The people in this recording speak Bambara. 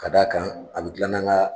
Ka d' a kan a be gilan n'an ga